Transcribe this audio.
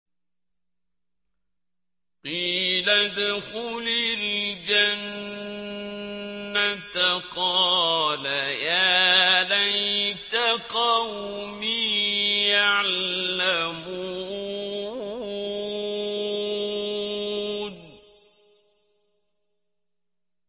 قِيلَ ادْخُلِ الْجَنَّةَ ۖ قَالَ يَا لَيْتَ قَوْمِي يَعْلَمُونَ